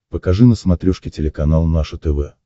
покажи на смотрешке телеканал наше тв